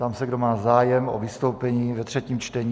Ptám se, kdo má zájem o vystoupení ve třetím čtení.